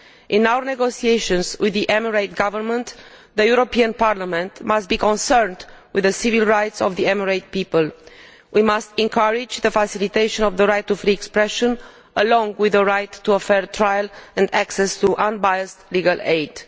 In our negotiations with the UAE Government, the European Parliament must be concerned with the civil rights of the Emirati people. We must encourage the faciliation of the right to free expression, along with the right to a fair trial and access to unbiased legal aid.